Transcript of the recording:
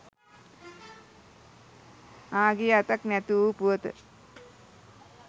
ආ ගිය අතක් නැති වූ පුවත